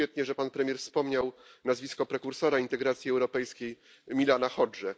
Świetnie, że pan premier wspomniał nazwisko prekursora integracji europejskiej, Milana Hod y.